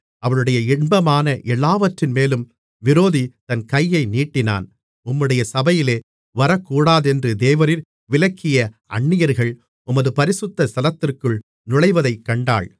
அவளுடைய இன்பமான எல்லாவற்றின்மேலும் விரோதி தன் கையை நீட்டினான் உம்முடைய சபையிலே வரக்கூடாதென்று தேவரீர் விலக்கிய அன்னியர்கள் உமது பரிசுத்த ஸ்தலத்திற்குள் நுழைவதைக் கண்டாள்